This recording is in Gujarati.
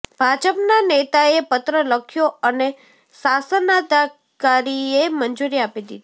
ભાજપના નેતાએ પત્ર લખ્યો અને શાસનાધિકારીએ મંજુરી આપી દીધી